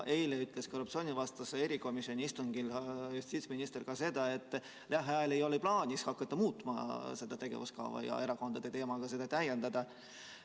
Eile ütles korruptsioonivastase erikomisjoni istungil justiitsminister ka seda, et lähiajal ei ole plaanis hakata seda tegevuskava muutma ja erakondade teemaga seda täiendama.